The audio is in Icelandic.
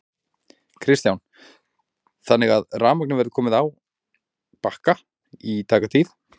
Kristján: Þannig að rafmagnið verður komið á Bakka í tæka tíð?